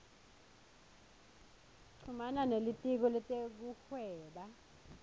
chumana nelitiko letekuhweba